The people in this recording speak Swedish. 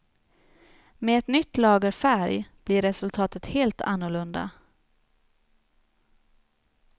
Med ett nytt lager färg blir resultatet helt annorlunda.